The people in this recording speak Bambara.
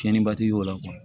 Tiɲɛniba ti y'o la